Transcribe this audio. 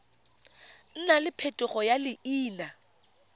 nna le phetogo ya leina